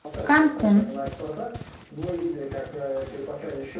канкун